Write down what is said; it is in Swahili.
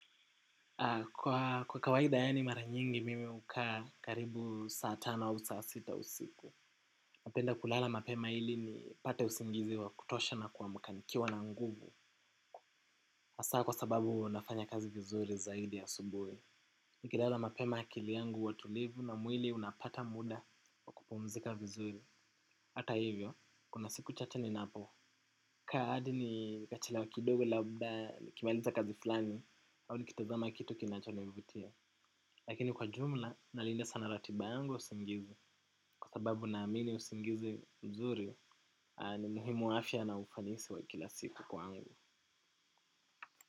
Kwa kawaida yaani mara nyingi mimi hukaa karibu saa tano au saa sita usiku. Napenda kulala mapema ili nipate usingizi wa kutosha na kuamka nikiwa na nguvu. Hasaa kwa sababu huwa nafanya kazi vizuri zaidi asubuhi. Niki lala mapema akili yangu huwa tulivu na mwili unapata muda kupumzika vizuri. Hata hivyo, kuna siku chache ninapo. Kaa hadi nitachelewa kidogo labda nikimaliza kazi fulani au nikitazama kitu kinachonivutia. Lakini kwa jumla nalinda sana ratiba yangu ya usingizi kwa sababu naamini usingizi mzuri ni muhimu afya na ufanisi wa kila siku kwangu.